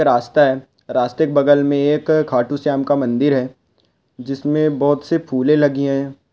रास्ता है रास्ते के बगल में एक खाटू श्याम का मंदिर है जिसमे बहुत से फुले लगी है।